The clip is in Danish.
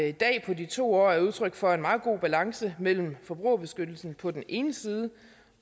i dag på de to år er udtryk for en meget god balance mellem forbrugerbeskyttelsen på den ene side